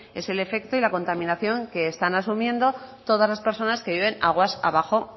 es el efecto y la contaminación que están asumiendo todas las personas que viven aguas abajo